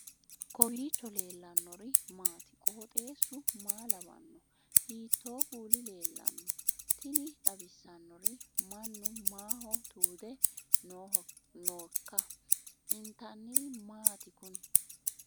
kowiicho leellannori maati ? qooxeessu maa lawaanno ? hiitoo kuuli leellanno ? tini xawissannori mannu maaho tuude nooikka intanniri maati kuni